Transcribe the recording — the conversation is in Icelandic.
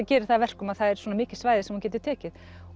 gerir það að verkum að það er svona mikið svæði sem hún getur tekið